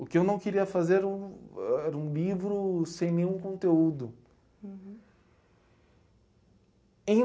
O que eu não queria fazer ãh era um livro sem nenhum conteúdo. Em